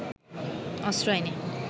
অস্ত্র আইনে